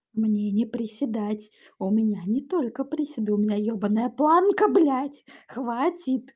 мне не приседать у меня не только при себе у меня ебаное планка блять хватит